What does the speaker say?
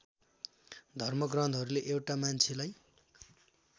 धर्मग्रन्थहरूले एउटा मान्छेलाई